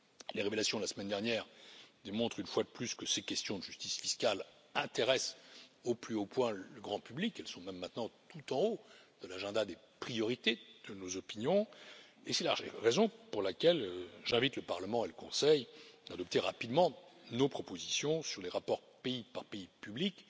Les révélations de la semaine dernière démontrent, une fois de plus, que ces questions de justice fiscale intéressent au plus haut point le grand public. Elles sont même maintenant tout en haut des priorités de nos opinions et c'est la raison pour laquelle j'invite le Parlement et le Conseil à adopter rapidement nos propositions sur les rapports pays par pays publics